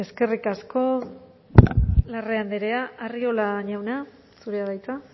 eskerrik asko larrea andrea arriola jauna zurea da hitza